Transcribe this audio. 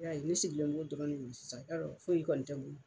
I y'a ye ne sigilen b'o dɔrɔn de kunna sisan, yarɔ foyi kɔni tɛ n bolo.